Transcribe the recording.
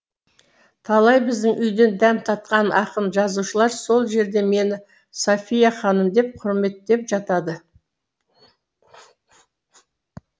талай біздің үйден дәм татқан ақын жазушылар сол жерде мені софья ханым деп құрметтеп жатады